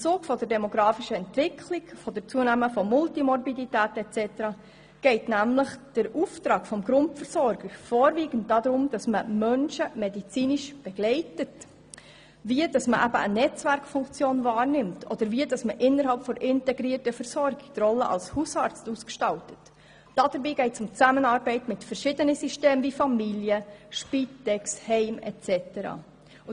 Aufgrund der demographischen Entwicklung mit der zunehmenden Multimorbidität und so weiter, geht es nämlich beim Auftrag an die Grundversorger vorwiegend darum, Menschen medizinisch zu begleiten, eine Netzwerkfunktion wahrzunehmen und die Rolle als Hausarzt innerhalb der integrierten Versorgung und der Zusammenarbeit mit verschiedenen Systemen wie Familie, Spital, Heim und so weiter zu gestalten.